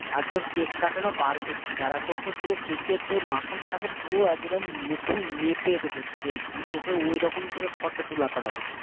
আর তোর কেক কাটানো বার করছি দাঁড়া কাকের যে মাখনটা থাকে পুরো একদম মুখে নেপে দেব তুই দেখবি তোকে ওই রকম করে আমি নিজের মুখ থেকে নিয়ে ফটো তোলা করাবো তোমার মুখে